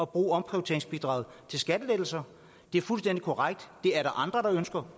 bruge omprioriteringsbidraget til skattelettelser det er fuldstændig korrekt at andre ønsker